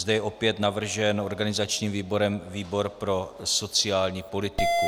Zde je opět navržen organizačním výborem výbor pro sociální politiku.